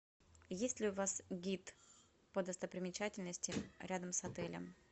есть ли у вас гид по достопримечательностям рядом с отелем